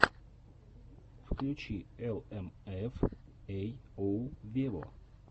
включи эл эм эф эй оу вево